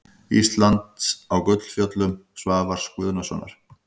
Íslands á Gullfjöllum Svavars Guðnasonar.